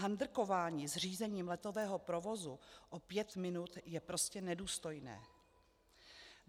Handrkování s řízením letového provozu o pět minut je prostě nedůstojné.